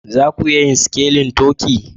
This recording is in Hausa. Za ku iya sikelin turkey?